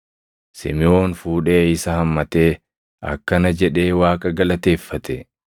Simiʼoon fuudhee isa hammatee akkana jedhee Waaqa galateeffate: